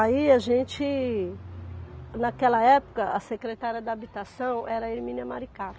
Aí a gente... Naquela época, a secretária da habitação era a Erminia Maricato.